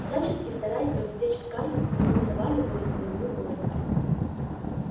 всячески стараясь развлечь скарлетт они не давали воли своему горю